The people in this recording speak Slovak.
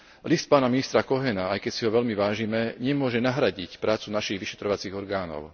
List pána ministra Cohena, aj keď si ho veľmi vážime, nemôže nahradiť prácu našich vyšetrovacích orgánov.